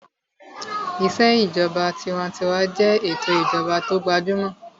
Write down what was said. Ìṣèjọba tinwatinwa jẹ́ ètò ìjọba tó gbajúmọ̀